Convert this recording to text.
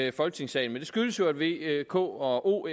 i folketingssalen det skyldes jo at v k og o